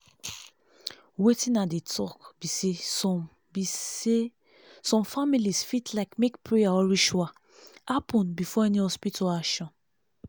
wetin i dey talk be saysome be saysome families fit like make prayer or ritual happen before any hospital action